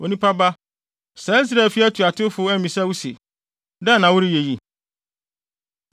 “Onipa ba, saa Israelfi atuatewfo no ammisa wo se, ‘Dɛn na woreyɛ yi?’